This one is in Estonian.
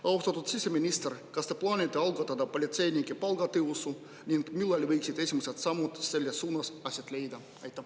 Austatud siseminister, kas te plaanite algatada politseinike palgatõusu ning millal võiksid esimesed sammud selles suunas aset leida?